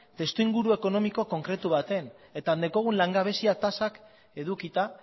testuinguru ekonomiko konkretu baten eta daukagun langabezia tasak edukita